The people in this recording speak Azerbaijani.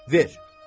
Ver.